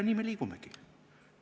Nii me liigumegi.